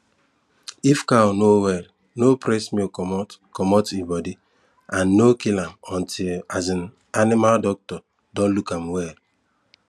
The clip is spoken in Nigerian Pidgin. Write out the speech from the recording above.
if cow no well no press milk comot comot e body and no kill am until um animal doctor don look am well